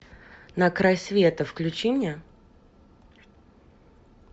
на край света включи мне